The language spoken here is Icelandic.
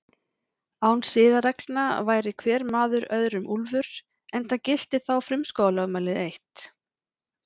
Án siðareglna væri hver maður öðrum úlfur, enda gilti þá frumskógarlögmálið eitt.